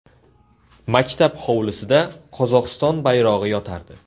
Maktab hovlisida Qozog‘iston bayrog‘i yotardi.